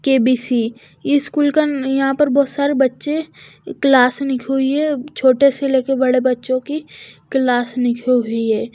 KBC इस school का यहां पर बहुत सारे बच्चे क्लास नहीं हुई है छोटे से लेकर बड़े बच्चों की क्लास नई हुई है।